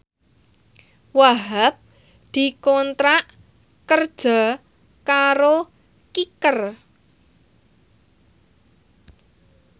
Wahhab dikontrak kerja karo Kicker